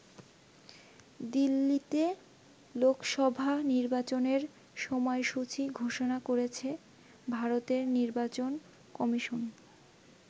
দিল্লিতে লোকসভা নির্বাচনের সময়সূচী ঘোষণা করেছে ভারতের নির্বাচন কমিশন।